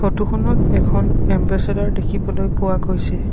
Photo খনত এখন এম্বেচেদৰ দেখিবলৈ পোৱা গৈছে।